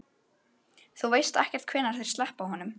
Þú veist ekkert hvenær þeir sleppa honum?